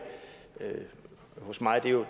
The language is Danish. hos mig